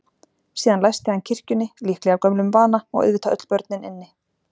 Síðan læsti hann kirkjunni, líklega af gömlum vana, og auðvitað öll börnin inni.